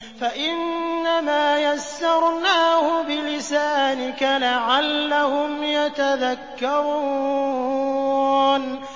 فَإِنَّمَا يَسَّرْنَاهُ بِلِسَانِكَ لَعَلَّهُمْ يَتَذَكَّرُونَ